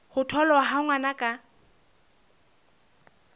ho tholwa ha ngwana ka